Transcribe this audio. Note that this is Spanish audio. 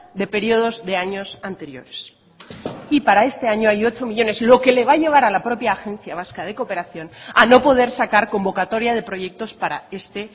de periodos de años anteriores y para este año hay ocho millónes lo que le va a llevar a la propia agencia vasca de cooperación a no poder sacar convocatoria de proyectos para este